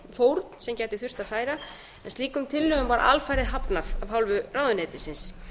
fórn sem gæti þurft að færa en slíkum tillögum var alfarið hafnað af hálfu ráðuneytisins